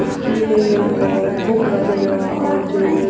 कुछ कीले और हुक वगैरह और जो--